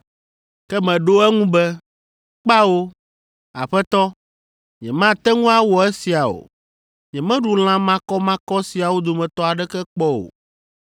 “Ke meɖo eŋu be, ‘Kpao, Aƒetɔ, nyemate ŋu awɔ esia o. Nyemeɖu lã makɔmakɔ siawo dometɔ aɖeke kpɔ o.’